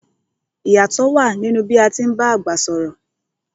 I yátọ̀ wa nínú bí a ti ń bá àgbà sọ̀rọ̀